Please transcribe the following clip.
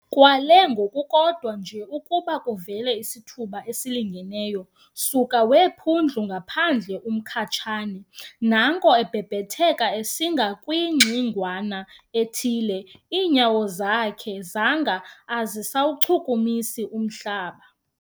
Kwaale ngokukodwa nje ukuba kuvele isithuba esilingeneyo, suka weephundlu ngaphandle uMkhatshane, naanko ebhebhetheka esinga kwingxingwana ethile, iinyawo zakhe zanga azisawuchukumisi umhlaba.